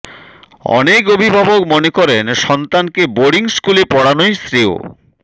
অনেক অভিভাবক মনে করেন সন্তানকে বোর্ডিং স্কুলে পড়ানোই শ্রেয়